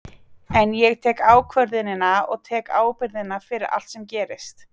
En ég tek ákvörðunina og tek ábyrgðina fyrir allt sem gerist.